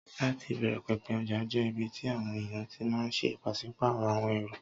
Láti ìbẹ̀rẹ̀ pẹ̀pẹ̀, ọjà jẹ́ ibi tí àwọn èèyàn ti máà ń ṣe pàsípàrọ̀ àwọn ẹrù